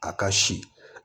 A ka si